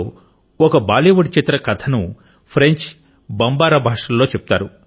ఇందులో ఒక బాలీవుడ్ చిత్రం కథను ఫ్రెంచ్ బంబారా భాషలలో చెప్తారు